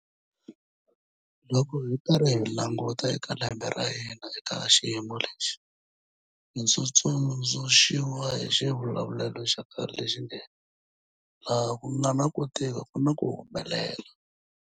Loko hi karhi hi languta eka lembe ra hina eka xiyimo lexi, ndzi tsundzu xiwa hi xivulavulelo xa khale lexi nge, laha ku nga na ku tika ku na ku humelela.